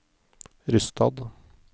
Rysstad